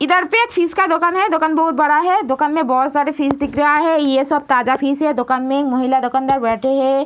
इधर पे एक फिश का दुकान है। दुकान बहुत बड़ा है। दुकान में बहुत सारे फिश दिख रहा है। ये सब ताज़ा फिश है। दुकान में एक महिला दकानदार बैठी है।